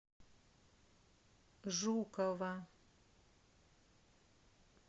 жукова